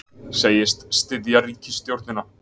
Segist styðja ríkisstjórnina